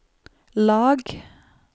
lag